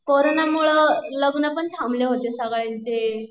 corona मुळं लग्न पण थांबले होते सगळ्यांचे